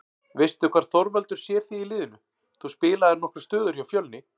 Veistu hvar Þorvaldur sér þig í liðinu, þú spilaðir nokkrar stöður hjá Fjölni?